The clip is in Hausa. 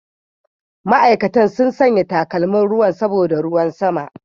Ma'aikatan sun sanya takalmin ruwan saboda ruwan sama.